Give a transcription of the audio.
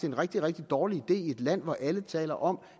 en rigtig rigtig dårlig idé i et land hvor alle taler om